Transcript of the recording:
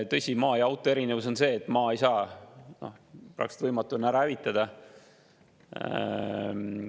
Tõsi, maa ja auto erinevus on see, et maad ei saa, praktiliselt võimatu on seda ära hävitada.